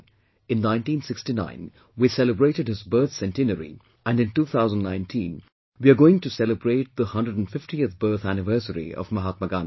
In 1969, we celebrated his birth centenary and in 2019 we are going to celebrate the 150th birth anniversary of Mahatma Gandhi